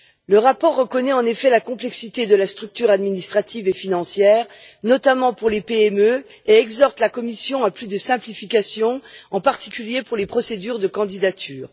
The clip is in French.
Le rapport reconnaît, en effet, la complexité de la structure administrative et financière, notamment pour les PME, et exhorte la Commission à plus de simplification, en particulier pour les procédures de candidatures.